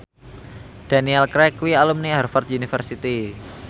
Daniel Craig kuwi alumni Harvard university